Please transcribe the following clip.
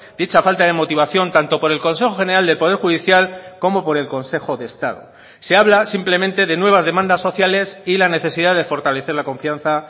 dicha falta de motivación tanto por el consejo general del poder judicial como por el consejo de estado se habla simplemente de nuevas demandas sociales y la necesidad de fortalecer la confianza